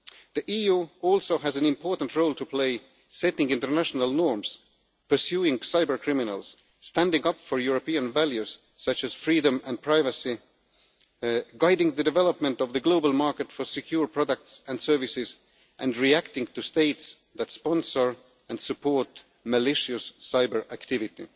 The EU also has an important role to play, setting international norms, pursuing cybercriminals, standing up for European values such as freedom and privacy, guiding the development of the global market for secure products and services, and reacting to states that sponsor and support malicious cyber activity.